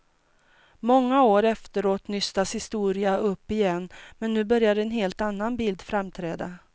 Många år efteråt nystas historien upp igen men nu börjar en helt annan bild framträda.